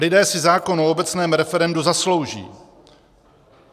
Lidé si zákon o obecném referendu zaslouží.